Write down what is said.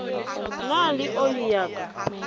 na le oli ya ka